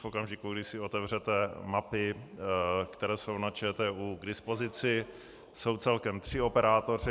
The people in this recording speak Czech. V okamžiku, kdy si otevřete mapy, které jsou na ČTÚ k dispozici, jsou celkem tři operátoři.